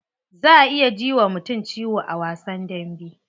Za a iya ji wa mutum ciwo a wasan dambe.